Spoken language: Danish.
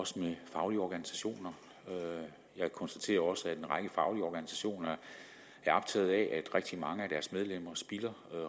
også med faglige organisationer jeg konstaterer også at en række faglige organisationer er optaget af at rigtig mange af deres medlemmer spilder